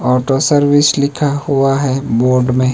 Auto service लिखा हुआ है बोर्ड में।